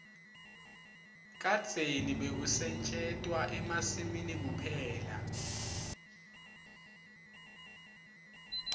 kadzeni bekusetjentwa emasimini kuphela